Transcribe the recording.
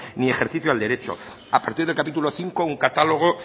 ni ejercicio al derecho a partir del capítulo quinto un catálogo